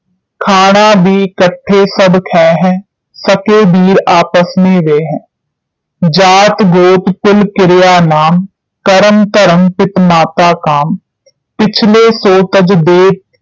ਖਾਣਾ ਭੀ ਇਕੱਠੇ ਸਭ ਖੈਂ ਹੈਂ ਸਕੇ ਬੀਰ ਆਪਸ ਮੇਂ ਵੈ ਹੈਂ ਜਾਤਿ ਗੋਤ ਕੁਲ ਕਿਰਿਆ ਨਾਮ ਕਰਮ ਧਰਮ ਪਿਤ ਮਾਤਾ ਕਾਮ ਪਿਛਲੇ ਸੋ ਤਜ ਦੇਤ